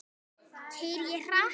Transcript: Keyri ég hratt?